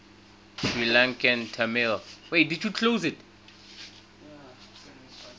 sri lankan tamil